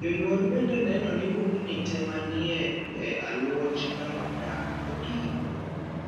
Jonyuol bende neno ni bugni tee manie e aluoch kar dak odin.